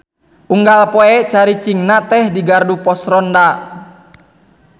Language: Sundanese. Unggal poe caricingna teh di gardu pos ronda.